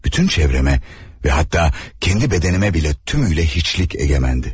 Bütün çevreme ve hatta kendi bedenime bile tümüyle hiçlik egemendi.